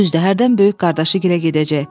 Düzdür, hərdən böyük qardaşı gilə gedəcək.